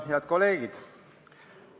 Head kolleegid!